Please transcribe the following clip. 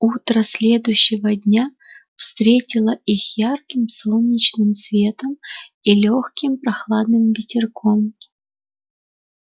утро следующего дня встретило их ярким солнечным светом и лёгким прохладным ветерком